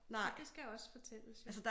Så det skal også fortælles jo